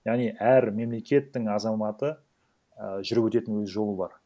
яғни әр мемлекеттің азаматы і жүріп өтетін өз жолы бар